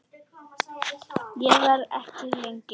Ég verð ekki lengi